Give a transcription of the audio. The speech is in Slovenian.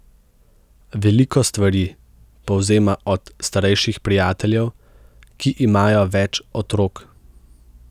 Veliko stvari povzema od starejših prijateljev, ki imajo več otrok.